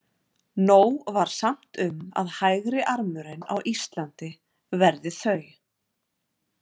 Nóg var samt um að hægri- armurinn á Íslandi verði þau.